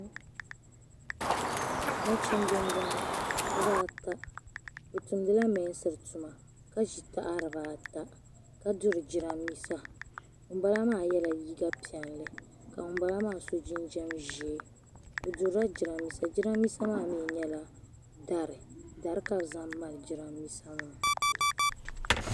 Nachimba n bɔŋɔ bi baa ata ni tumdi la mɛɛnain tuma ka zi taha di ba ata ka duri jiranbesa ŋun bala maa yiɛ la liiga piɛlli ka ŋun bala maa so jinjam zɛɛ bi durila jiranbesa jiranbesa maa mi yɛla dari dari ka bi zaŋ malli jiranbesa maa.